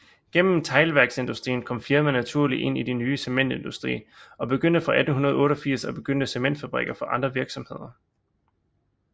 Gennem teglværksindustrien kom firmaet naturligt ind i den nye cementindustri og begyndte fra 1888 at bygge cementfabrikker for andre virksomheder